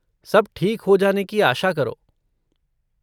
सब ठीक हो जाने की आशा करो।